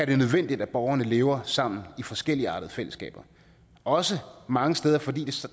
det nødvendigt at borgerne lever sammen i forskelligartede fællesskaber også mange steder fordi